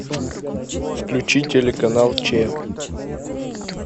включи телеканал че